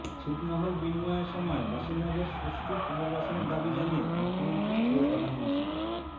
ছিটমহল বিনিময়ের সময় বাসিন্দাদের সুষ্ঠু পুনর্বাসনের দাবি জানিয়ে মুখ্যমন্ত্রী ও প্রধানমন্ত্রীকে